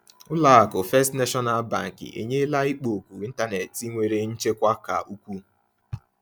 Ụlọ akụ First National Bank enyela ikpo okwu ịntanetị nwere nchekwa ka ukwuu.